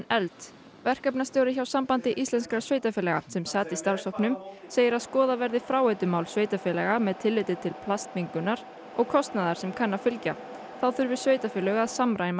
efld verkefnastjóri hjá Sambandi íslenskra sveitarfélaga sem sat í starfshópnum segir að skoða verði fráveitumál sveitarfélaga með tilliti til plastmengunar og kostnaðar sem kann að fylgja þá þurfi sveitarfélög að samræma